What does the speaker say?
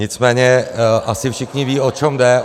Nicméně asi všichni vědí, o co jde.